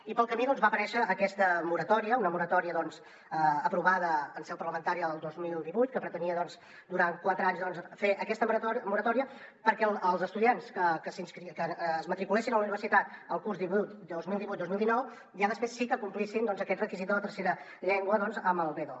i pel camí va aparèixer aquesta moratòria una moratòria aprovada en seu parlamentària el dos mil divuit que pretenia doncs durant quatre anys fer aquesta moratòria perquè els estudiants que es matriculessin a la universitat el curs dos mil divuit dos mil dinou ja després sí que complissin aquest requisit de la tercera llengua amb el b2